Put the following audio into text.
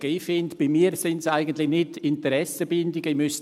Ich finde, dass es bei mir eigentlich nicht Interessenbindungen sind.